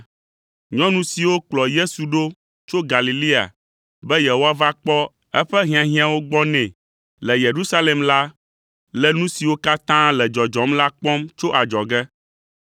Nyɔnu siwo kplɔ Yesu ɖo tso Galilea be yewoava kpɔ eƒe hiahiãwo gbɔ nɛ le Yerusalem la le nu siwo katã le dzɔdzɔm la kpɔm tso adzɔge.